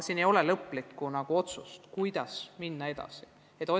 Lõplikku otsust, kuidas minna edasi, veel ei ole.